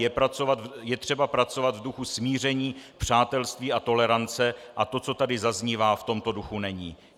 Je třeba pracovat v duchu smíření, přátelství a tolerance a to, co tady zaznívá, v tomto duchu není.